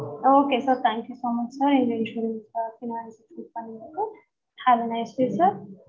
okay sir thank you so much sir have a nice day sir